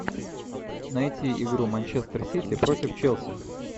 найти игру манчестер сити против челси